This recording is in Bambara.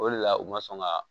O de la u ma sɔn ka